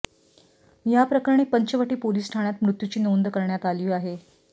याप्रकरणी पंचवटी पोलीस ठाण्यात मृत्यूची नोंद करण्यात आली आहे